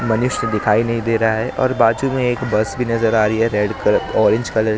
मनुष्य दिखाई नहीं दे रहा है और बाजू में एक बस भी नजर आ रही है रेड कलर ऑरेंज कलर ।